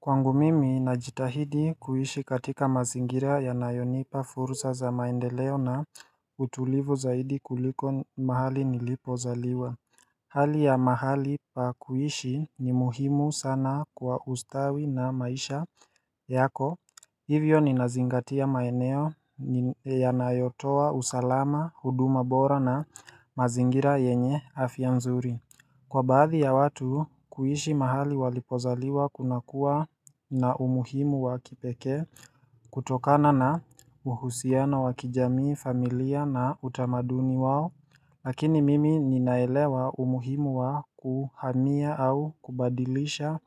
Kwangu mimi najitahidi kuishi katika mazingira yanayonipa fursa za maendeleo na utulivu zaidi kuliko mahali nilipozaliwa Hali ya mahali pa kuishi ni muhimu sana kwa ustawi na maisha yako Hivyo ninazingatia maeneo yanayotoa usalama huduma bora na mazingira yenye afya nzuri Kwa baadhi ya watu, kuishi mahali walipozaliwa kunakua na umuhimu wa kipekee kutokana na uhusiano wa kijamii familia na utamaduni wao Lakini mimi ninaelewa umuhimu wa kuhamia au kubadilisha